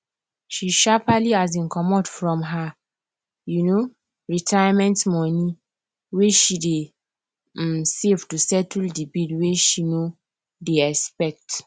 she sharpaly um comot from her um retirement money wey she dey um save to settle the bill wey she no dey expect